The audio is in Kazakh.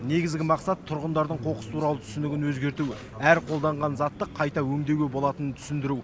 негізгі мақсат тұрғындардың қоқыс туралы түсінігін өзгерту әр қолданған затты қайта өңдеуге болатынын түсіндіру